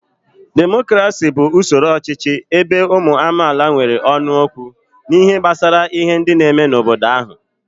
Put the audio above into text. Demokrasi bu usoro ọchịchị ebe uwu amaala nwere ónu okwu n'ihe gbasara ihe ndi n'eme n'obodo ahu